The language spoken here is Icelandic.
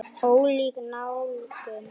Ólík nálgun.